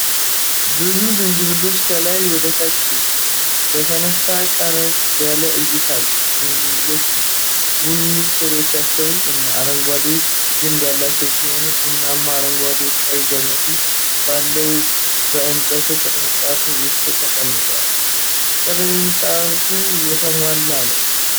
ብዙ ዝንጅብሎች ከላይ ወደ ታች በተነሳ ቀረብ ያለ እይታ አሉ። ዝንጅብሎቹ ቡኒ ሥሮቻቸው እና አረንጓዴ ግንድ ያላቸው ሲሆን፣ ቡናማ፣ አረንጓዴና ቀይ ገመድ ባለው በእንጨት ቅርጫት ውስጥ ተቀምጠዋል። ቅርጫቱ የተሞላ ነውን?